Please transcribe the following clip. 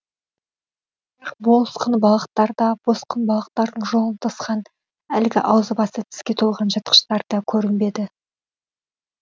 босқын балықтар да босқын балықтардың жолын тосқан әлгі аузы басы тіске толған жыртқыштар да көрінбеді